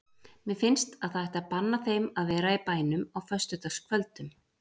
Mér finnst að það ætti að banna þeim að vera í bænum á föstudagskvöldum.